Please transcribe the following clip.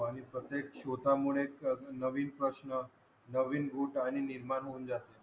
आणि प्रत्येक शोधा मुळेच तर नवीन प्रश्न रूपाने निर्माण होऊन जाते